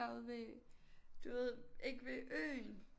Derude ved du ved ikke ved Øen